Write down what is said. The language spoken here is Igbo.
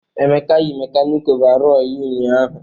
Emeka yi mekanịkị ọvarọọr ya ụnyahụ.